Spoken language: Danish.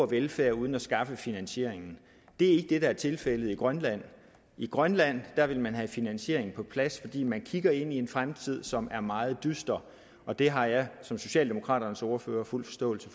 velfærd uden at skaffe finansieringen det er ikke det der er tilfældet i grønland i grønland vil man have finansieringen på plads fordi man kigger ind i en fremtid som er meget dyster og det har jeg som socialdemokraternes ordfører fuld forståelse